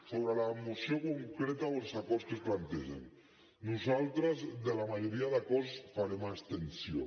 sobre la moció concreta o els acords que es plantegen nosaltres en la majoria d’acords farem abstenció